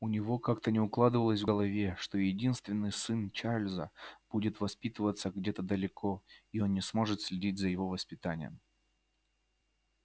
у него как-то не укладывалось в голове что единственный сын чарлза будет воспитываться где-то далеко и он не сможет следить за его воспитанием